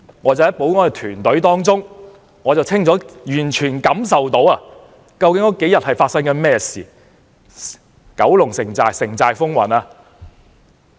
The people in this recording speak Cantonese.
我在保安團隊中清楚感受到這幾天發生的事情是怎樣的。